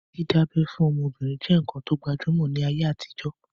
Dídá abẹ́ fún ọmọbìnrin je nkán to gbajúmọ̀ ní ayé àtijọ́